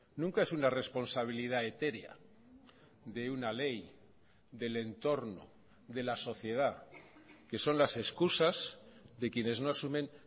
nunca es una responsabilidad etérea de una ley del entorno de la sociedad que son las excusas de quienes no asumen